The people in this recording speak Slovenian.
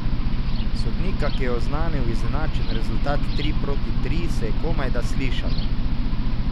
Sodnika, ki je oznanil izenačen rezultat tri proti tri, se je komajda slišalo.